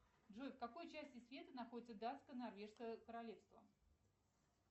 джой в какой части света находится датско норвежское королевство